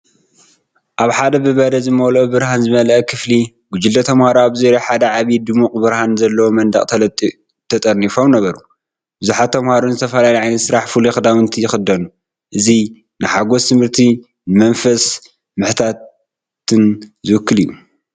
ኣብ ሓደ ብበረድ ዝመልኦ ብርሃን ዝመልአ ክፍሊ፡ ጕጅለ ተማሃሮ ኣብ ዙርያ ሓደ ዓቢን ድሙቕ ብርሃን ዘለዎን መንደቕ ተጠርኒፎም ነበሩ። ብዙሓት ተምሃሮ ንዝተፈላለዩ ዓይነት ስራሕ ፍሉይ ክዳውንቲ ይኽደኑ። እዚ ንሓጐስ ትምህርትን ንመንፈስ ምሕታትን ዝውክል እዩ።